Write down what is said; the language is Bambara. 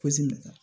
Pɔsi bɛ ta